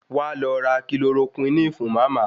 Wá lọ ra Kilorokúínì fún Màmá.